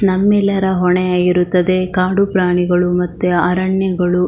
ನಮ್ಮೆಲ್ಲರ ಹೊಣೆಯಾಗಿರುತ್ತದೆ ಕಾಡು ಪ್ರಾಣಿಗಳು ಮತ್ತು ಅರಣ್ಯಗಳು --